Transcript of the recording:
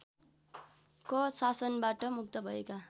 क शासनबाट मुक्त भएका